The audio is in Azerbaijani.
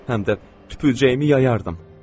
Həm də tüpürcəyimi yayardım.